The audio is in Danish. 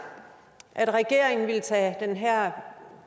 at regeringen ville tage den her